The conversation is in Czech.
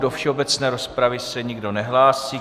Do všeobecné rozpravy se nikdo nehlásí.